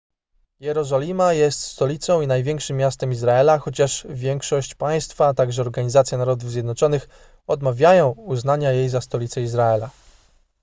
jerozolima jest stolicą i największym miastem izraela chociaż większość państwa a także organizacja narodów zjednoczonych odmawiają uznania jej za stolicę izraela